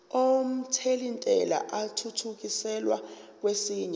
omthelintela athuthukiselwa kwesinye